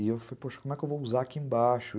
E eu falei, poxa, como é que eu vou usar aqui embaixo?